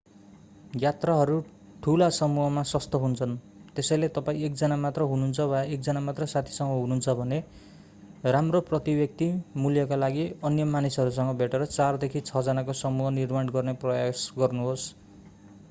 यात्राहरू ठूला समूहमा सस्तो हुन्छन् त्यसैले तपाईं एकजना मात्र हुनुहुन्छ वा एकजना मात्र साथीसँग हुनुहुन्छ भने राम्रो प्रति-व्यक्ति मूल्यका लागि अन्य मानिसहरूसँग भेटेर चारदेखि छ जनाको समूह निर्माण गर्ने प्रयास गर्नुहोस्